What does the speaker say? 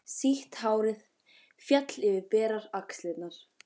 Sítt hárið féll yfir berar axlirnar.